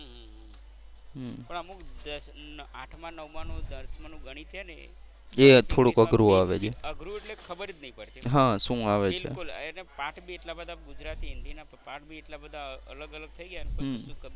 હમ્મ પણ અમુક આઠમા નવમા નું દસમાં નું ગણિત હે ને અઘરું એટલે ખબર જ નહીં પડતી. એના પાઠ બી એટલા બધા ગુજરાતી હિન્દી ના પાઠ બી એટલા અલગ અલગ થઈ ગયા ના